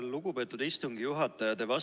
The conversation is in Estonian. Lugupeetud istungi juhataja!